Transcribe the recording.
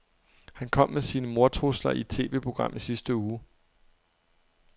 Han kom med sine mordtrusler i et TVprogram i sidste uge.